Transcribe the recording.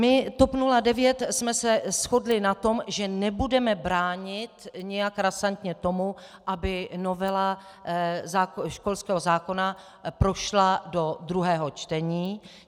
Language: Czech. My, TOP 09, jsme se shodli na tom, že nebudeme bránit nějak razantně tomu, aby novela školského zákona prošla do druhého čtení.